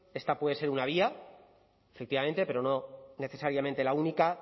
esta puede ser una vía efectivamente pero no necesariamente la única